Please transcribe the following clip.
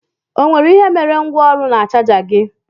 Ọ nwe ihe mere gwa ọrụ na chaja gi?